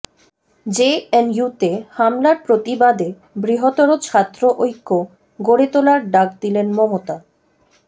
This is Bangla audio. জেএনইউতে হামলার প্রতিবাদে বৃহত্তর ছাত্র ঐক্য গড়ে তোলার ডাক দিলেন মমতা